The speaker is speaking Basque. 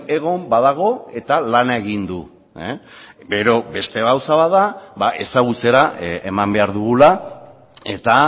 egon badago eta lana egin du gero beste gauza bat da ezagutzera eman behar dugula eta